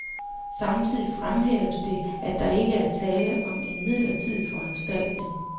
Samtidig fremhæves det, at der ikke er tale om en midlertidig foranstaltning.